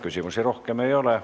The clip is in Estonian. Küsimusi rohkem ei ole.